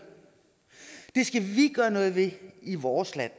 gøre noget ved i vores land